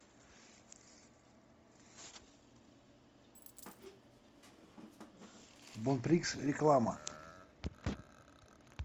бонприкс реклама